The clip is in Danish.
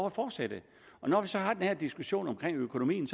at fortsætte når vi så har den her diskussion om økonomien